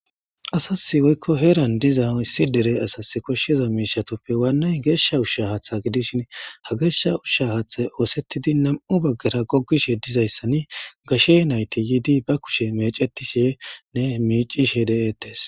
Asasi woykko heeran diza issi dere asasi koshiza miishshatuppe waanay geesha usha haatha gidishin ha geesha ushsha haathay oosetidi nam7u bagara gogizayssani gashe nayti yidi ba kushe meecetishenne miicishe de7etees.